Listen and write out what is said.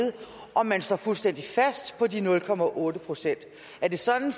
om man står fuldstændig fast på de nul procent er det sådan